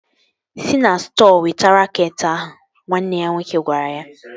Si na stọọ weta raket ahụ! Nwanne ya nwoke gwara ya